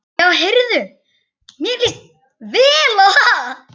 Já heyrðu, mér líst vel á það!